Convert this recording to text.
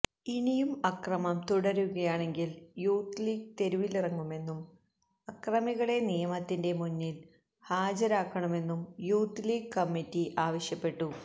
ഇനിയും അക്രമം തുടരുകയാണെങ്കില് യൂത്ത് ലീഗ് തെരുവിലിറങ്ങുമെന്നും അക്രമികളെ നിയമത്തിൻെറ മുന്നില് ഹാജരാക്കണമെന്നും യൂത്ത് ലീഗ് കമ്മിറ്റി ആവശ്യപ്പെട്ടു